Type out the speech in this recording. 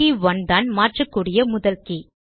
K 1 தான் மாற்றக்கூடிய முதல் கே